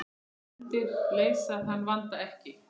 Nefndir leysa þann vanda ekki.